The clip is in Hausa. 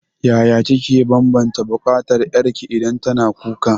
Yaya kike banbanta bukatar ƴarki idan tana kuka?